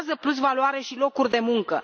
Creează plusvaloare și locuri de muncă.